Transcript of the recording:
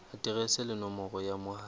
aterese le nomoro ya mohala